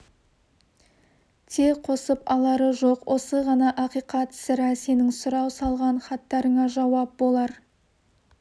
те қосып-алары жоқ осы ғана ақиқат сірә сенің сұрау салған хаттарыңа жауап болар